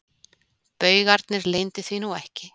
Baugarnir leyndu því nú ekki.